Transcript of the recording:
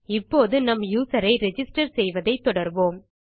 இப்போது நாம் நம் யூசர் ஐ ரிஜிஸ்டர் செய்வதை தொடர்வோம்